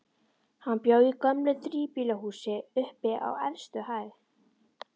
Hann bjó í gömlu þríbýlishúsi, uppi á efstu hæð.